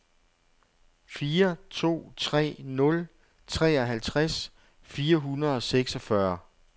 fire to tre nul treoghalvtreds fire hundrede og seksogfyrre